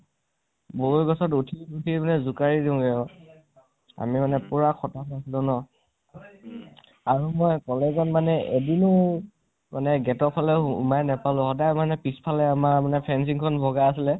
বগৰী গছ ত উঠি, উঠি পেলাই জোকাৰি দিওগে আৰু আমি মানে পোৰা খাতাৰনাখ আচিলো ন । আমি মানে college ত মানে এদিনো gate ফালে উলাই নাপালো, সদাই মানে পিছ্ফালে আমাৰ fencing খন বগাই আছিলে